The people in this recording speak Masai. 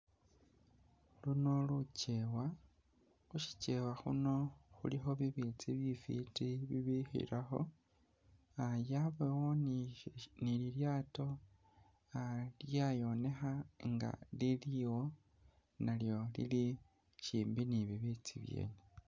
Luno lukyewa khushikyewa khuno khulikho bibitsi bifiti bibikhilakho yabawo ni lilyato lyayonekha inga lili iwo nalyo lili shimbi ni bibitsibyene